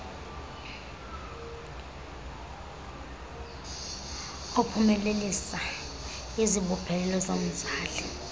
ophumelelisa izibophelelo zomzali